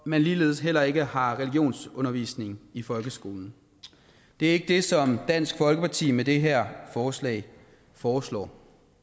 man ligeledes heller ikke har religionsundervisning i folkeskolen det er ikke det som dansk folkeparti foreslår med det her forslag forslag